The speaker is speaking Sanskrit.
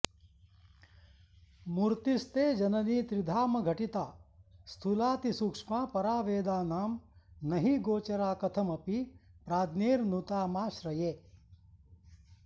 मूर्तिस्ते जननि त्रिधामघटिता स्थूलातिसूक्ष्मा परा वेदानां नहि गोचरा कथमपि प्राज्ञैर्नुतामाश्रये